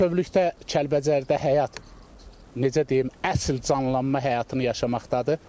Bütövlükdə Kəlbəcərdə həyat necə deyim, əsl canlanma həyatını yaşamaqdadır.